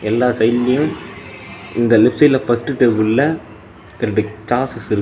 எல்லா சைடுலயு இந்த லெஃப்ட் சைடுல ஃபஸ்ட்டு டேபிள்ள ரெண்டு சாசஸ் இரு.